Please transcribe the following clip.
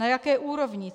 Na jaké úrovni?